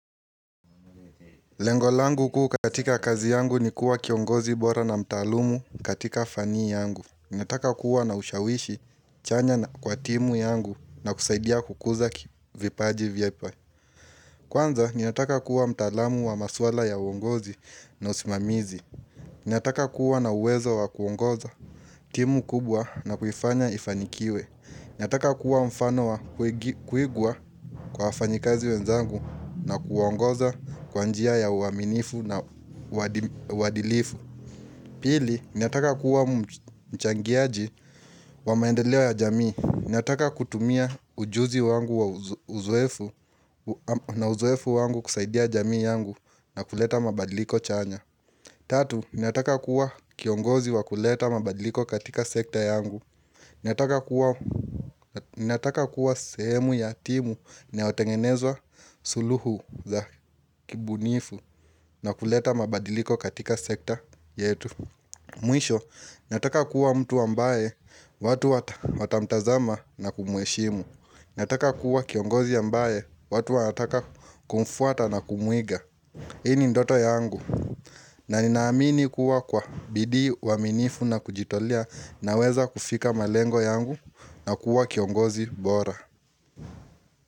Lengo langu kuu katika kazi yangu ni kuwa kiongozi bora na mtaalumu katika fani yangu. Nataka kuwa na ushawishi chanya na kwa timu yangu na kusaidia kukuza kivipaji vipa. Kwanza, niyataka kuwa mtaalamu wa maswala ya uongozi na usimamizi. Nataka kuwa na uwezo wa kuongoza timu kubwa na kuifanya ifanikiwe. Nataka kuwa mfano wa kuigwa kwa wafanyikazi wenzangu na kuongoza kwa njia ya uaminifu na uadilifu Pili, nataka kuwa mchangiaji wa maendeleo ya jamii Nataka kutumia ujuzi wangu na uzoefu wangu kusaidia jamii yangu na kuleta mabadiliko chanya Tatu, nataka kuwa kiongozi wa kuleta mabadiliko katika sekta yangu Nataka kuwa sehemu ya timu naotengenezwa suluhu za kibunifu na kuleta mabadiliko katika sekta yetu Mwisho nataka kuwa mtu ambaye watu watamtazama na kumuheshimu Nataka kuwa kiongozi ambaye watu wataka kumfuata na kumuiga Hii ni ndoto yangu na ninaamini kuwa kwa bidii uaminifu na kujitolea naweza kufika malengo yangu na kuwa kiongozi bora.